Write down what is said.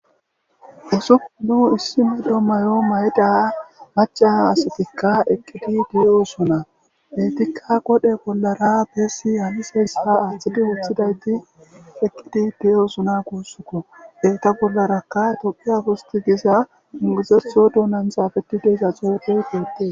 usuu nu issi mado mayo mayda haca asatikka eqqidi diyoosona detikka qodhe bollara beessi haliseyssaa aaththidi woothidayti eqqidi diyoosona guussukko eeta bollarakka tophu afosti giza inguzetho dunanthafetideza xuupey deette